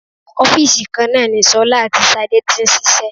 Ọ́fìsì kan náà ni ṣọlá àti Ṣadé tí ń ṣiṣẹ́